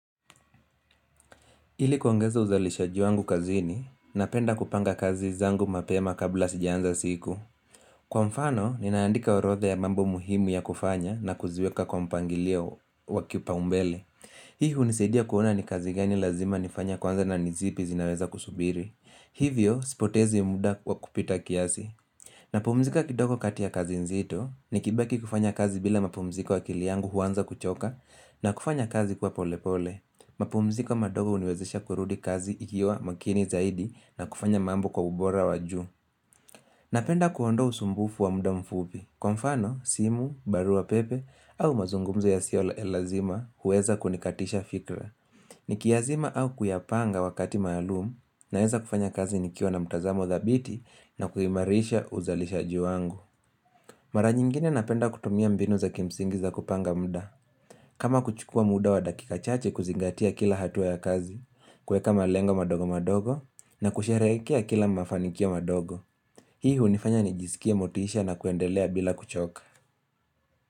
Ili kuongeza uzalishaji wangu kazini, napenda kupanga kazi zangu mapema kabla sijanza siku. Kwa mfano, ninaandika orodha ya mambo muhimu ya kufanya na kuziweka kwa mpangilio wa kiupaumbele. Hii hunisaidia kuona ni kazi gani lazima nifanya kwanza na ni zipi zinaweza kusubiri. Hivyo, sipotezi muda wa kupita kiasi. Napumzika kidogo kati ya kazi nzito, nikibaki kufanya kazi bila mapumziko akili yngu huanza kuchoka na kufanya kazi kwa pole pole. Mapumziko madogo huniwezesha kurudi kazi nikiwa makini zaidi na kufanya mambo kwa ubora wa juu Napenda kuondoa usumbufu wa muda mfupi kwa mfano, simu, barua pepe au mazungumzo yasiyo ya lazima huweza kunikatisha fikra Nikiyazima au kuyapanga wakati maalumu naweza kufanya kazi nikiwa na mtazamo dhabiti na kuimarisha uzalishaji wangu Mara nyingine napenda kutumia mbinu za kimsingi za kupanga muda kama kuchukua muda wa dakika chache kuzingatia kila hatua ya kazi kuweka malengo madogo madogo na kusherehekea kila mafanikio madogo Hii hunifanya nijisikie motisha na kuendelea bila kuchoka.